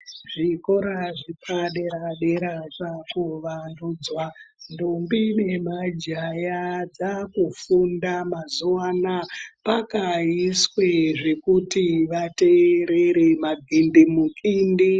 Zvikora zvepadera dera zvakuwandudzwa ndombi nemajaha dzakufunda mazuva anaya pakaiswa zvekuti vateerere madhindimutindi .